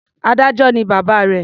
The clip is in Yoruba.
Adájọ́ ni bàbá rẹ̀.